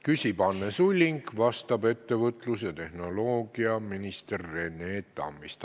Küsib Anne Sulling, vastab ettevõtlus- ja infotehnoloogiaminister Rene Tammist.